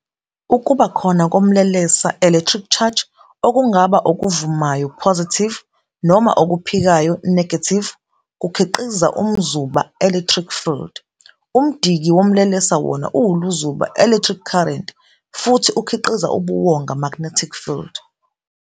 Ukuba khona komlelesa "electric charge", okungaba okuvumayo "positive" noma okuphikayo "negative", kukhiqiza umzuba "electric field". Umdiki womlelesa wona uwuluzuba "electric current" futhi ukhiqiza ubuwonga "magnetic field".